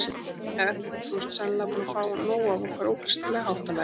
En þú ert sennilega búinn að fá nóg af okkar ókristilega háttalagi.